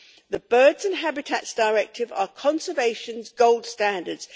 The Birds and Habitats Directives are conservation's gold standards.